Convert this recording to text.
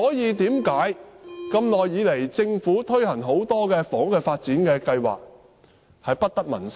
為何政府多年來推行很多房屋發展計劃都不得民心？